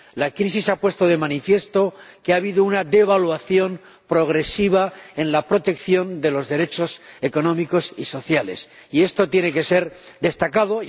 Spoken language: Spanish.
La crisis ha puesto de manifiesto que ha habido una devaluación progresiva en la protección de los derechos económicos y sociales, y ello merece ser destacado.